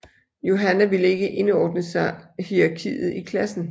Yohanna ville ikke indordne sig hierarkiet i klassen